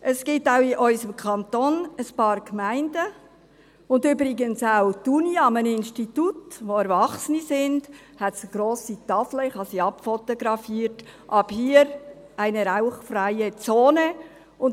Es gibt auch in unserem Kanton ein paar Gemeinden, und übrigens hat auch die Uni, an einem Institut, an dem Erwachsene sind, eine grosse Tafel – ich habe sie abfotografiert – «Ab hier eine rauchfreie Zone».